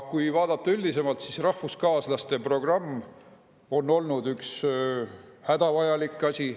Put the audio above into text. Kui vaadata üldisemalt, siis rahvuskaaslaste programm on olnud üks hädavajalik asi.